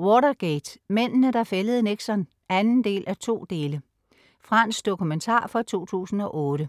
Watergate, mændene, der fældede Nixon. 2:2 Fransk dokumentar fra 2008